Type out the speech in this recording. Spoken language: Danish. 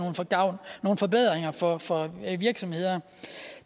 nogen forbedringer for for virksomhederne